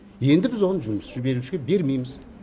енді біз оны жұмысшы берушіге бермейміз